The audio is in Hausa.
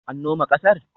An noma ƙasar?